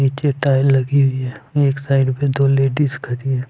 नीचे टाइल लगी हुई है एक साइड पे दो लेडिस खड़ी है।